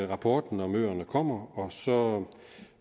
rapporten om øerne kommer og så